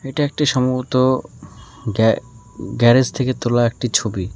এটি একটি সম্ভবত গ্যা গ্যারেস থেকে তোলা একটি ছবি।